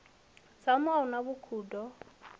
dzanu a hu na vhukhudo